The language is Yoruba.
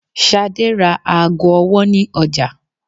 Shade ra aago ọwọ ni ọja